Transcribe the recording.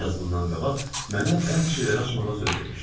Bir az bundan qabaq mənə bəzi şeyləri açmağa söz vermişdi.